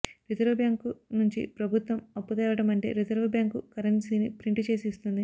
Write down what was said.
reserve bank నుంచి ప్రభుత్వం అప్పు తేవడం అంటే రిజర్వుబ్యాంకు కరెన్సీని ప్రింటు చేసి ఇస్తుంది